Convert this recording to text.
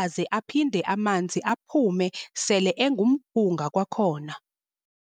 aze aphinde amanzi aphume sele engumphunga kwakhona.